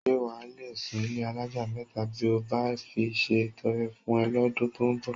S̩e wà á le sùn ilé alájà mé̩ta bí mo bá fi se ìto̩re̩ fún e̩ ló̩dún tó ń bò̩?